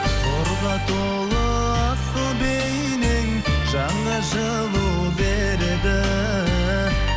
нұрға толы асыл бейнең жанға жылу береді